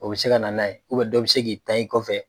O bɛ se ka na n'a ye dɔ bɛ se k'i tan i kɔfɛ.